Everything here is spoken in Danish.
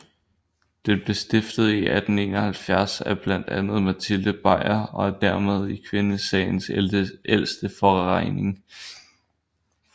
Den blev stiftet i 1871 af blandt andet Matilde Bajer og er dermed kvindesagens ældste forening